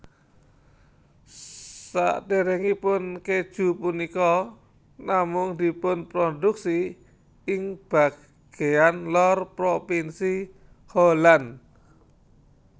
Saderengipun keju punika namung dipunproduksi ing bageyan lor propinsi Holland